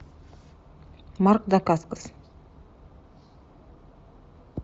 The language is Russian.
марк дакаскос